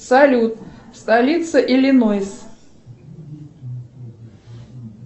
салют столица иллинойс